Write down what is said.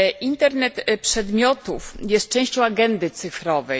Internet przedmiotów jest częścią agendy cyfrowej.